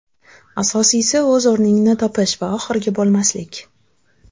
Asosiysi o‘z o‘rningni topish va oxirgi bo‘lmaslik.